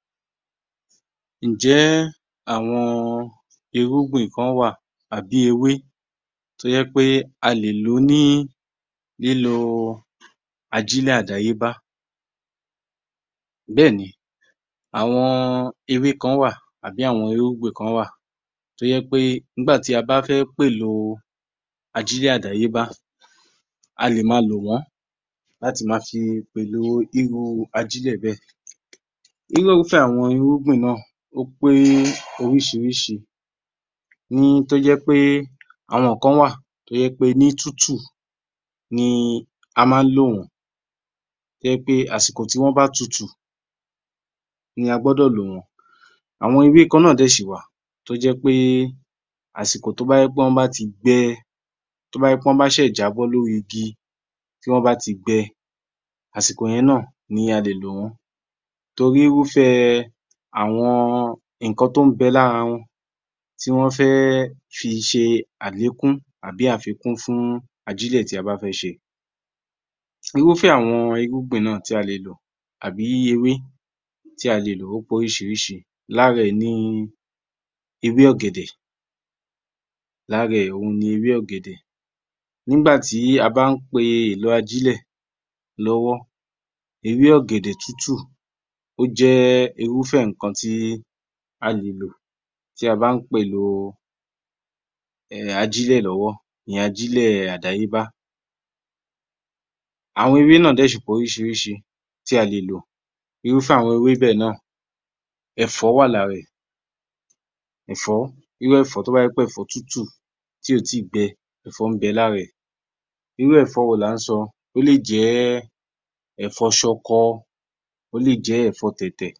16 _yor_m_1143_AG00900 Ǹjẹ́ àwọn irúgbìn kan wà tàbí ewé tó jẹ́pé a le lò ní lílo ajílẹ̀ àdáyébá. Béèni àwọn ewé kan wà tàbí àwọn irúgbìn kan wà tó jẹ́ pé nígbàtí a bá fẹ́ péloo ajílẹ̀ àdáyébá a lè ma lò wọ́n láti fi pèlo irúu ajílẹ̀ bẹ́ẹ̀. Irúfẹ́ àwọn irúgbìn bẹ́ẹ̀ ó pé orísìírísìí. NÍ tó jẹ́pé, àwọn kan wà tó jẹ́pé, ní tútù ni a má ń lò wọ́n, tó jẹ́ pé àsìkò tó bá tutù ni a gbọ́dọ̀ lò wọ́n. Àwọn ewé kan náà dẹ̀ ṣì wà tó jẹ́pé àsìkò tó bá jẹ́ pé wọ́n bá ti gbẹ, to bá jẹ́ pé wọ́n ṣẹ̀ẹ̀ jábọ́ lórí igi, tí wọ́n bá ti gbẹ, àsìkò yẹn náà, ni a le lò wọ́n. Torí irúfẹ́ àwọn ǹkan tọ́ ń be lára wọn, t'ọ́n fẹ́ fi ṣe àlékún tàbí àfikún fún ajílẹ̀ tí a bá fẹ́ ṣe. Irúfẹ́ àwọn irúgbìn nà tí a lò tàbí ewé tí a le lò ó pé orísìírísìí. Lára ẹ̀ ni ewé ọ̀gẹ̀dẹ̀,. Nìgbàtí a bá ń pe èlo ajílẹ̀ lọ́wọ́, ewé ọ̀gẹ̀dẹ̀ tútù ó jẹ́ irúfẹ́ ǹkan tí a lè lò tí a bá pèlo ajílẹ̀ lọ́wọ́, ìyẹn ajílẹ̀ àdáyébá. Àwọn ewé náà dẹ̀ ṣì pé orísìírísìí tí a lò. Irúfẹ́ àwọn ewé bẹ̀ náà ẹ̀fọ́ wà lára ẹ̀ irú ẹ̀fọ́ tó bá jẹ́ pé ẹ̀fọ́ tútù tí ò tí gbẹ, ẹ̀fọ́ ń bẹ lára ẹ̀. Irú ẹ̀fọ́ wo là ń sọ, ó lè jẹ́, ẹ̀fọ́ ṣọkọ, ó lè jẹ́ ẹ̀fọ́ tẹ̀tẹ̀.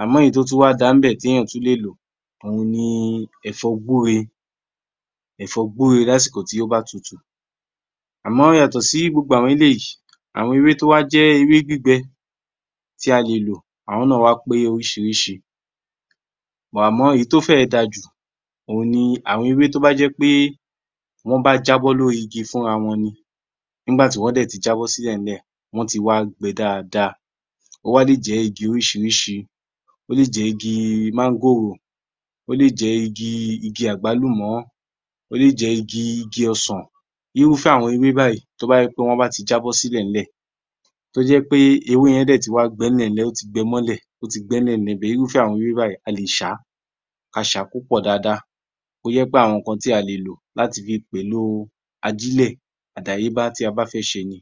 Àmọ́ èyí tó tún wá da níbẹ̀ t'èyàn tún lè lò, òun ni ẹ̀fọ́ gbúre lásìkò tí ó bá tutù. Àmọ́ yàtọ̀ sì gbogbo àwọn eléyì, àwọn ewé to wá jẹ́ ewé gbígbẹ̀ tí a le lò, àwọn náà wá pé orísìírísìí. But Àmọ́ èyí to fẹ́ẹ̀ da jù òun ni àwọn ewé tó bá jẹ́ pé wọ́n bá jábọ̀ lórÍ igi fún´ra wọn ni. Nìgbàtí wọ́n dẹ̀ ti jábọ̀ sí ilẹ̀ẹ́lẹ̀, wọ́n ti wá gbẹ dáadáa. Ó wá lè jẹ́ igi orísìírísìí, ó lè jẹ́ igi mángòrò, ó lè jẹ́ igi àgbálùmọ̀, ó lè jẹ́ igi ọsàn. Irúfẹ́ àwọn ewé báyì tó bá jẹ́ pé wọ́n bá ti jábọ̀ sí ilẹ̀ẹ́lẹ̀, tó jẹ́ pé ewé yẹn ti wá gbẹ ní'lẹ̀ẹ́lẹ̀, ó ti gbẹ mọ́lẹ̀. Irúfẹ́ àwọn ewé báyì a le ṣàá, ka ṣàá kó pọ̀ dáada. Tó jẹ́ pé àwọn ǹkan tí a le lò láti fi pèlo ajílẹ̀ àdáyébá tí a bá fẹ́ ṣe ni.